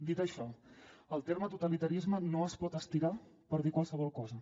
dit això el terme totalitarisme no es pot estirar per dir qualsevol cosa